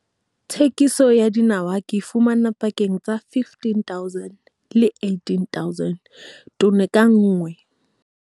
Thekisong ya dinawa ke fumana pakeng tsa 15 000 le 18 000 tone ka nngwe.